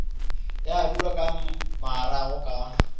ya dulwa ka marago ka